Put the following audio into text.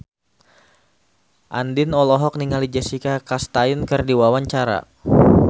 Andien olohok ningali Jessica Chastain keur diwawancara